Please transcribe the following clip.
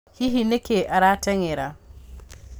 Hihi nĩkĩĩ atarateng’era